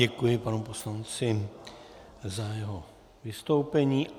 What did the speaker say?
Děkuji panu poslanci za jeho vystoupení.